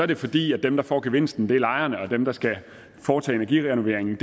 det fordi dem der får gevinsten er lejerne og dem der skal foretage energirenoveringen